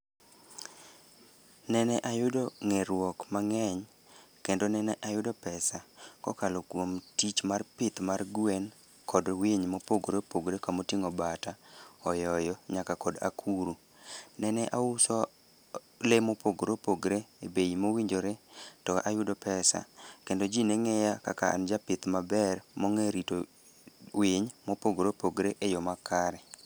Nene ayudo ng'eruok mang'eny kendo nene ayudo pesa kokalo kuom tich mar pith mar gwen kod winy mopogore opogore kamoting'o bata, oyoyo nyaka kod akuru. Nene auso lee mopogore opogre e bei mowinjore to ayudo pesa kendo ji ne ng'iya kaka an japith maber mong'e rito winy mopogore opogre e yo makare.